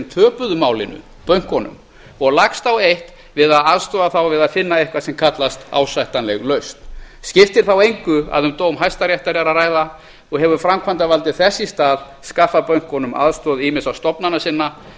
töpuðu málinu bönkunum og lagst á eitt við að aðstoða þá við að finna eitthvað sem kallast ásættanleg lausn skiptir þá engu að um dóm hæstaréttar er að ræða og hefur framkvæmdavaldið þess í stað skaffað bönkunum aðstoð ýmissa stofnana sinna